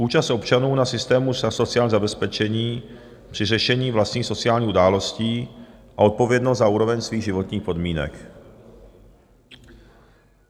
Účast občanů na systému sociálního zabezpečení při řešení vlastních sociálních událostí a odpovědnost za úroveň svých životních podmínek.